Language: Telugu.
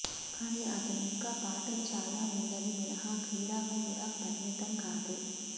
కానీ అతను ఇంకా పాఠాలు చాలా ఉందని మినహా క్రీడా కూడా పరిమితం కాదు